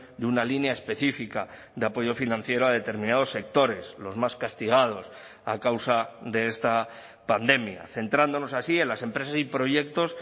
de una línea específica de apoyo financiero a determinados sectores los más castigados a causa de esta pandemia centrándonos así en las empresas y proyectos